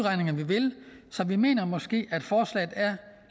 vil så vi mener måske at forslaget er